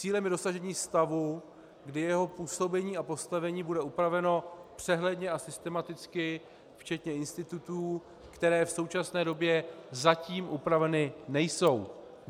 Cílem je dosažení stavu, kdy jeho působení a postavení bude upraveno přehledně a systematicky včetně institutů, které v současné době zatím upraveny nejsou.